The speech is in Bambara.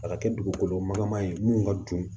A ka kɛ dugukolo magala man ye mun ka dun